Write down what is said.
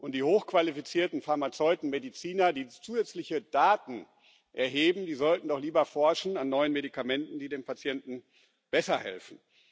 Die hochqualifizierten Pharmazeuten, Mediziner, die zusätzliche Daten erheben, die sollten doch lieber an neuen Medikamenten forschen, die den Patienten besser helfen.